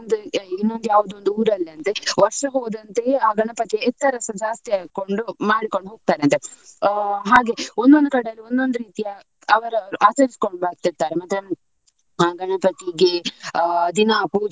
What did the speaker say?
ಇನ್ನೊಂದು ಯಾವ್ದೊ ಊರಲ್ಲಿ ಅಂತೆ ವರ್ಷ ಹೋದಂತೆಯೇ ಆ ಗಣಪತಿ ಎತ್ತರಸ ಜಾಸ್ತಿ ಹಾಕೊಂಡು ಮಾಡ್ಕೊಂಡು ಹೋಗ್ತಾರಂತೆ ಆ ಹಾಗೆ. ಒಂದ್ ಒಂದು ಕಡೆಯಲ್ಲಿ ಒಂದ್ ಒಂದು ರೀತಿಯ ಅವ್ವ್ರು ಆಚರಿಸಿಕೊಂಡು ಬರ್ತಿರ್ತಾರೆ. ಮತ್ತೆ ಗಣಪತಿಗೆ ದಿನ ಪೂಜೆ.